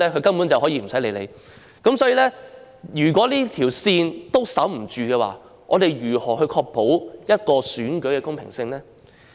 所以，如果連這條界線也守不住的話，試問我們又如何能確保選舉的公平性呢？